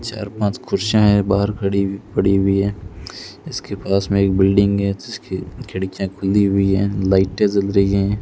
चार पांच कुर्सियां है बाहर खड़ी हुई पड़ी हुई हैं इसके पास में एक बिल्डिंग है जिसकी खिड़कियां खुली हुई है लाइटें जल रही हैं।